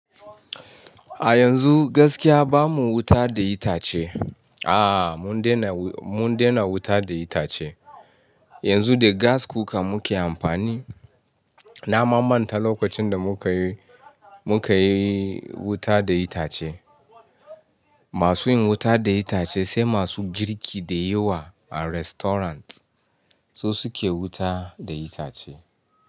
A yanzu gaskiya bamu wuta da itace. Aaa, mun dena wuta da itace. Yanzu da gas cooker muke amfani. Na mamanta lokacin da mukayi, mukayi wuta da itace. Masu yin wuta da itace sai masu girki da yawa a restaurant su suke wuta da itace.